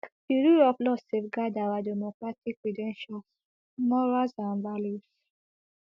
di rule of law safeguard our democratic credentials morals and values